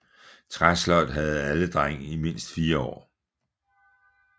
Træsløjd havde alle drenge i mindst 4 år